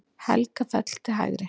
Helgafell til hægri.